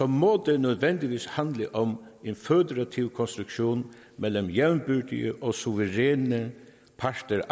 må det nødvendigvis handle om en føderativ konstruktion mellem jævnbyrdige og suveræne parter a